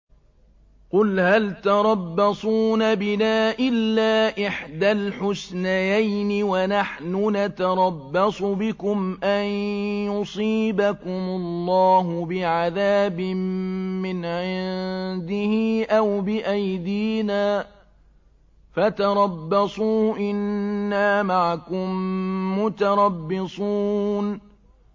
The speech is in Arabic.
قُلْ هَلْ تَرَبَّصُونَ بِنَا إِلَّا إِحْدَى الْحُسْنَيَيْنِ ۖ وَنَحْنُ نَتَرَبَّصُ بِكُمْ أَن يُصِيبَكُمُ اللَّهُ بِعَذَابٍ مِّنْ عِندِهِ أَوْ بِأَيْدِينَا ۖ فَتَرَبَّصُوا إِنَّا مَعَكُم مُّتَرَبِّصُونَ